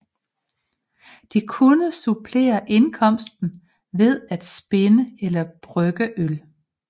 De kunne supplere indkomsten ved at spinde eller brygge øl